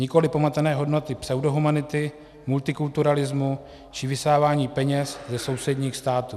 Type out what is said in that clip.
Nikoli pomatené hodnoty pseudohumanity, multikulturalismu či vysávání peněz ze sousedních států.